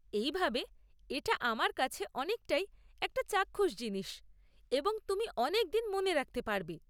এইভাবে এটা আমার কাছে অনেকটাই একটা চাক্ষুষ জিনিস, এবং তুমি অনেকদিন মনে রাখতে পারবে।